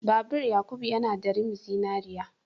Babur Yakubu yana da rim zinariya.